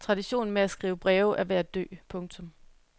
Traditionen med at skrive breve er ved at dø. punktum